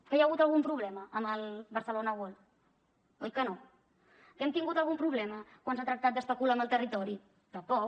que hi ha hagut algun problema amb el barcelona world oi que no que hem tingut algun problema quan s’ha tractat d’especular amb el territori tampoc